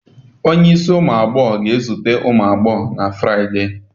Onye ísì umu agbọghọ ga-ezute ụmụ agbọghọ na Friday.